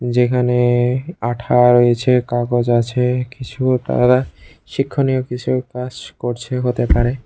যেখানে আঠা রয়েছে কাগজ আছে কিছু শিক্ষণীয় কিছু কাজ করছে হতে পারে।